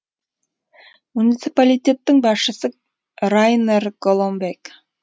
муниципалитеттің басшысы райнер голомбек